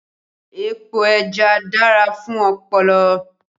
Epo ẹja dára fún ọpọlọ